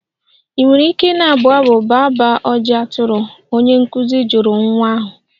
Ị nwere ike na-abụ abụ baa baa ojii atụrụ?, onye nkụzi jụrụ nwata ahụ.